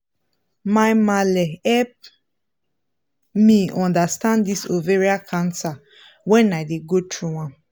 my malle help me understand this ovarian cancer when i dey go through am